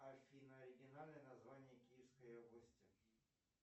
афина оригинальное название киевской области